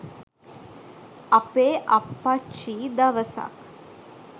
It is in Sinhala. අපේ අප්පච්චි දවසක්